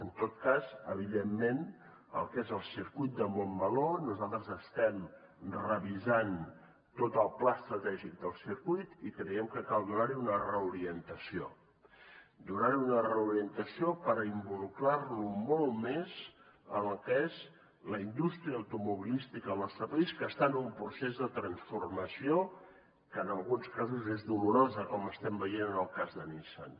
en tot cas evidentment el que és el circuit de montmeló nosaltres estem revisant tot el pla estratègic del circuit i creiem que cal donarhi una reorientació donarhi una reorientació per involucrarlo molt més en el que és la indústria automobilística al nostre país que està en un procés de transformació que en alguns casos és dolorosa com estem veient en el cas de nissan